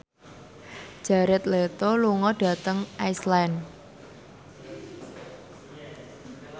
Jared Leto lunga dhateng Iceland